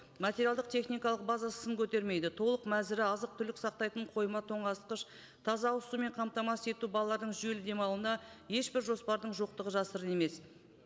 материалдық техникалық базасы сын көтермейді толық мәзірі азық түлік сақтайтын қойма тоңазытқыш таза ауызсумен қамтамасыз ету балалардың жүйелі демалуына ешбір жоспардың жоқтығы жасырын емес